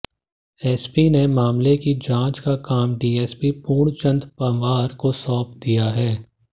SP ने मामले की जांच का काम डीएसपी पूर्णचंद पंवार को सौंप दिया है